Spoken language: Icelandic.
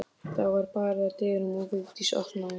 Það var barið að dyrum og Vigdís opnaði.